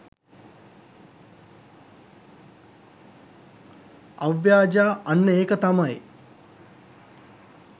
අව්‍යාජා අන්න ඒක තමයි